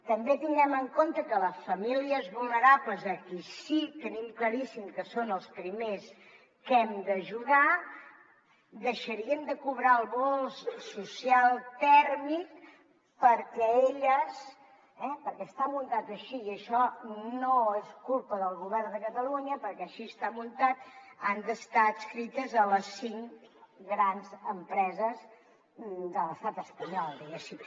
també tinguem en compte que les famílies vulnerables a qui sí que tenim claríssim que són els primers que hem d’ajudar deixarien de cobrar el bo social tèrmic perquè elles perquè està muntat així i això no és culpa del govern de catalunya perquè així està muntat han d’estar adscrites a les cinc grans empreses de l’estat espanyol diguéssim